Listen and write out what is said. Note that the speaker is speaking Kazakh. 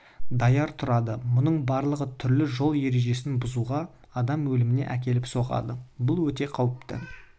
даяр тұрады мұның барлығы түрлі жол ережесін бұзуға адам өліміне әкеліп соғады бұл өте қауіпті